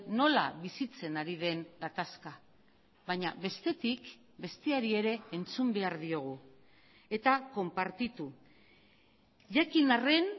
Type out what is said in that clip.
nola bizitzen ari den gatazka baina bestetik besteari ere entzun behar diogu eta konpartitu jakin arren